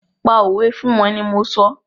Pa fún wọ́n ni mọ sọ!